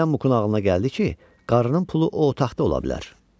Birdən Muqun ağlına gəldi ki, qarının pulu o otaqda ola bilər.